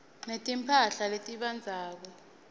netimphahla letibandzako